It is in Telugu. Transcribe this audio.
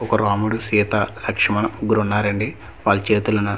ఒక రాముడు సీత లక్ష్మణ్ ముగ్గురు ఉన్నారండి వాలు చేతులోన.